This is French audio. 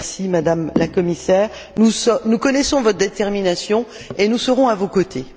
Madame la Commissaire, nous connaissons votre détermination et nous serons à vos côtés.